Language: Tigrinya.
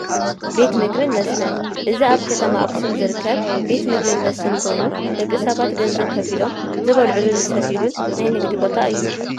ቤት ምግብን መስተን፡- እዚ ኣብ ከተማ ኣክሱም ዝርከብ ቤት ምግብን መስተን ኮይኑ ደቂ ሰባት ገንዘብ ከፊሎም ዝበልዕሉን ዝሰትዩሉን ናይ ንግዲ ቦታ እዩ፡፡